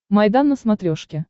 майдан на смотрешке